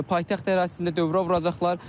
Paytaxt ərazisində dövrə vuracaqlar.